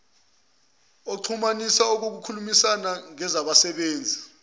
oxhumanisa ukukhulumisana ngezabasebenzi